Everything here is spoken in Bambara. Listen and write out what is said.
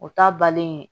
O ta balen